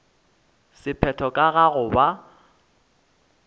sephetho ka ga go ba